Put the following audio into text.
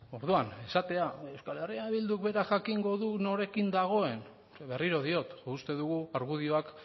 orduan esatea euskal herria bilduk berak jakingo du norekin dagoen berriro diot uste dugu argudioak